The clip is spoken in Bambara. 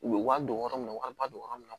U bɛ wari don yɔrɔ min na u ka don yɔrɔ min na